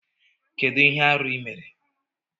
Kedu ihe arụ ị mere?